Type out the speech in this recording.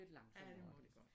Ja det må det